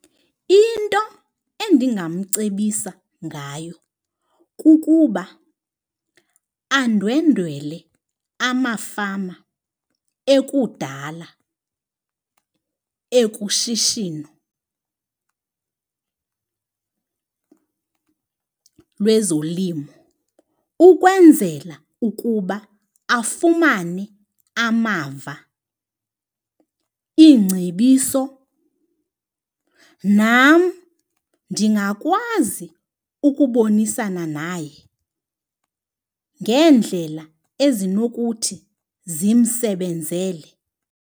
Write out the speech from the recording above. Into endingamcebisa ngayo kukuba andwendwele amafama ekudala ekushishino lezolimo ukwenzela ukuba afumane amava, iingcebiso, nam ndingakwazi ukubonisana naye ngendlela ezinokuthi zimsebenzele.